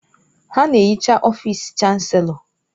Ha na-ehicha ọfịsị Chanselọ.